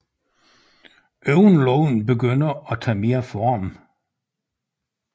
Øjenlågene begynder at tage mere form